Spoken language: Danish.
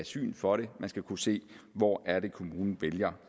syn for det man skal kunne se hvor kommunen vælger